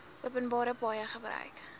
openbare paaie gebruik